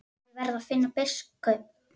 Ég verð að finna biskup!